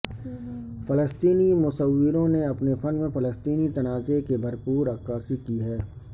فلسطینی مصوروں نے اپنے فن میں فلسطینی تنازعے کی بھر پور عکاسی کی ہے